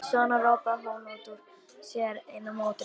Svo ropaði hún út úr sér enn einni nótunni.